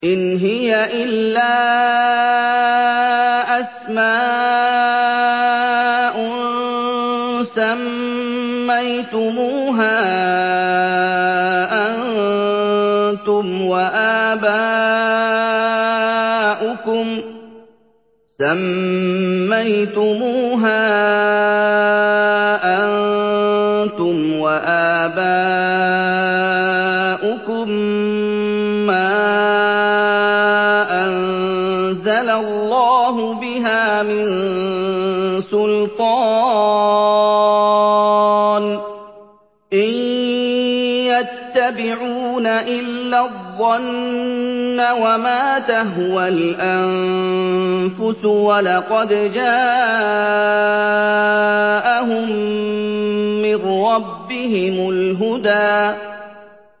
إِنْ هِيَ إِلَّا أَسْمَاءٌ سَمَّيْتُمُوهَا أَنتُمْ وَآبَاؤُكُم مَّا أَنزَلَ اللَّهُ بِهَا مِن سُلْطَانٍ ۚ إِن يَتَّبِعُونَ إِلَّا الظَّنَّ وَمَا تَهْوَى الْأَنفُسُ ۖ وَلَقَدْ جَاءَهُم مِّن رَّبِّهِمُ الْهُدَىٰ